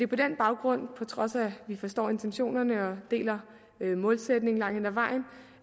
på den baggrund på trods af at vi forstår intentionerne og deler målsætningen langt hen ad vejen